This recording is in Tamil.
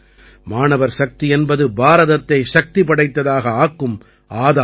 மாணவர்சக்தி என்பது பாரதத்தை சக்தி படைத்ததாக ஆக்கும் ஆதாரம்